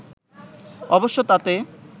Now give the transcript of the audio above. অবশ্য তাতে